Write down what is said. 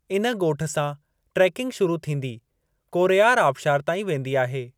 इन ॻोठु सां ट्रेकिंग शुरू थींदी कोरैयारू आबिशार ताईं वेंदी आहे।